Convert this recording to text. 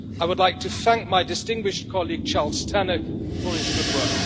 I would like to thank my distinguished colleague Charles Tannock for his good work.